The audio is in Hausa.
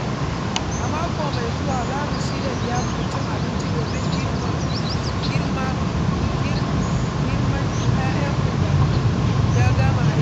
A mako mai zuwa za mu shirya liyafar cin abinci domin girmma yayanmu da ya gama aiki.